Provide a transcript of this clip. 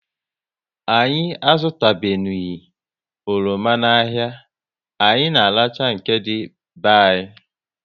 Anyị azutanubeghi oroma n'ahia, anyị na arachaa nke dị be anyị